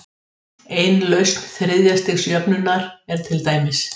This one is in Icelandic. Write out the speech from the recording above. Ein lausn þriðja-stigs jöfnunnar er til dæmis